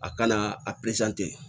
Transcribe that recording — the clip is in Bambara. A kana a